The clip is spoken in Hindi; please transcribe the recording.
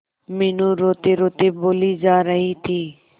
मीनू रोतेरोते बोली जा रही थी